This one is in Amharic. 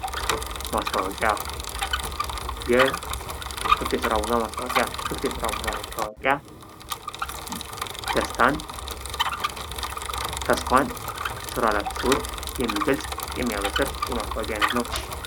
ማስታወቂያ ፦ የክፍት የስራ ማስታወቂያ ፦ ክፍት የስራ ማስታወቂያ ደስታን ፣ ተስፋን ስራ ላጡ ሰዎች የሚገልጽ ፣ የሚያበስር የማስታወቂያ አይነት ነው ።